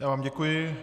Já vám děkuji.